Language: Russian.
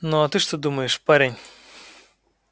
ну а ты что думаешь парень